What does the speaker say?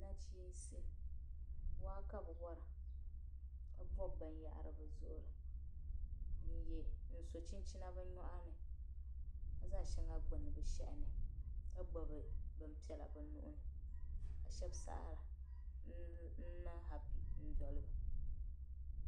Nachiinsi , waa kabi wara. ka bob bin yahiri bizuɣirini n-so chinchina bi nyɔɣini ka zaŋ shaŋa n gbuni bi shehini ka gbubi bin pɛla bi nuhini ka shab saɣiri n niŋ hapi n doliba.